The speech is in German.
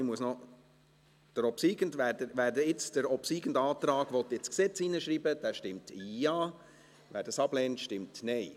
Wer jetzt den obsiegenden Antrag ins Gesetz schreiben will, stimmt Ja, wer dies ablehnt, stimmt Nein.